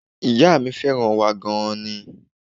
Ìyá mi fẹ́ràn wa gan an ni